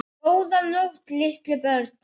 Góða nótt litlu börn.